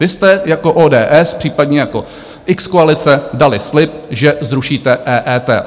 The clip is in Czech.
Vy jste jako ODS, případně jako x-koalice dali slib, že zrušíte EET.